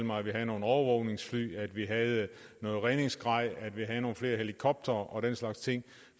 mig at vi havde nogle overvågningsfly at vi havde noget redningsgrej at vi havde nogle flere helikoptere og den slags ting